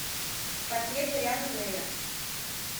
портрет дориана грея